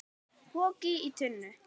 Poki í tunnu